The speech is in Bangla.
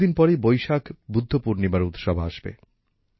কিছুদিন পরেই বৈশাখ বুদ্ধ পূর্ণিমার উৎসব আসবে